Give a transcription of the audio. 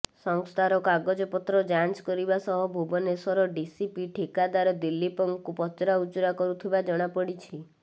ସଂସ୍ଥାର କାଗଜପତ୍ର ଯାଞ୍ଚ କରିବା ସହ ଭୁବନେଶ୍ୱର ଡିସିପି ଠିକାଦାର ଦିଲ୍ଲୀପଙ୍କୁ ପଚରାଉଚରା କରୁଥିବା ଜଣାପଡ଼ିଛି